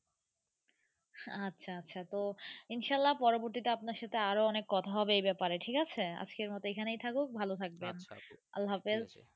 আচ্ছা আচ্ছা তো ইন্সআল্লা পরবর্তী তে আপনার সাথে অনেক কথা হবে এই ব্যাপার এ ঠিক আছে আজকের মতো এই খানে থাকুক ভালো থাকবেন আচ্ছা আচ্ছা আল্লাহাফিজ।